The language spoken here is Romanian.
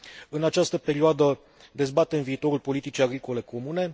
În această perioadă dezbatem viitorul politicii agricole comune.